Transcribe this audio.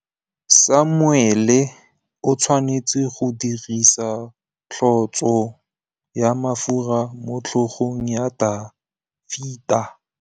Samuele o tshwanetse go dirisa tlotsô ya mafura motlhôgong ya Dafita.